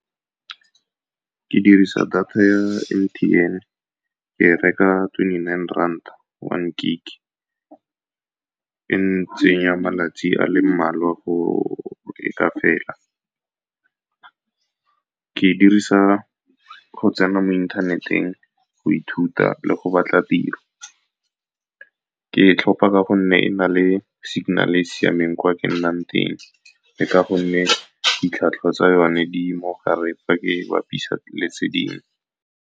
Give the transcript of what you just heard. Ke dirisa data ya M_T_N, ke e reka twenty-nine rand one gig. E ntsenya malatsi a le mmalwa go leka fela. Ke dirisa go tsena mo inthaneteng, go ithuta le go batla tiro. Ke e tlhopha ka gonne e na le signal-e e siameng kwa ke nnang teng, le ka gonne ditlhwatlhwa tsa yone di mogare fa ke bapisa le tse dingwe.